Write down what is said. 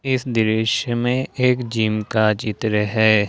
इस दृश्य में एक जिम का चित्र है।